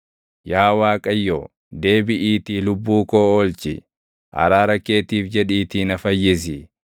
Yaa Waaqayyo, deebiʼiitii lubbuu koo oolchi; araara keetiif jedhiitii na fayyisi.